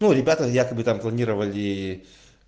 ну ребята якобы там планировали